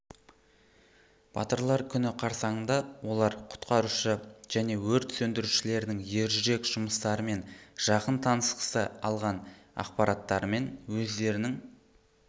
батырлар күні қарсаңыңда олар құтқарушы және өрт сөндірушілердің ержүрек жұмыстарымен жақын танысқысы алған ақпараттарымен өздерінің